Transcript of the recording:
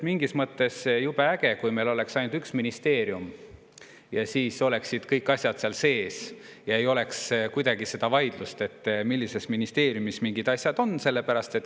Mingis mõttes oleks jube äge, kui meil oleks ainult üks ministeerium, kõik asjad oleksid seal sees ja ei oleks vaidlust, millise ministeeriumi all mingid asjad on.